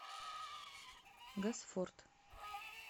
госфорд